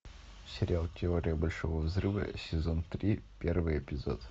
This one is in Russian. сериал теория большого взрыва сезон три первый эпизод